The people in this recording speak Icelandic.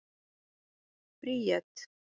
Bríet